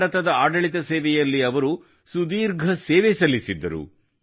ಭಾರತದ ಆಡಳಿತ ಸೇವೆಯಲ್ಲಿ ಅವರು ಸುದೀರ್ಘ ಸೇವೆ ಸಲ್ಲಿಸಿದ್ದರು